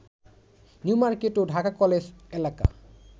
New Market ও Dhaka college এলাকা